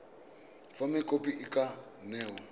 fa mokopi a ka newa